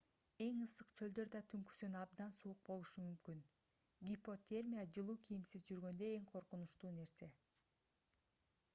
эң ысык чөлдөр да түнкүсүн абдан суук болушу мүмкүн гипотермия жылуу кийимсиз жүргөндө эң коркунучтуу нерсе